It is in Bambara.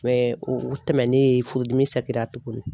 o tɛmɛnen furudimi tuguni.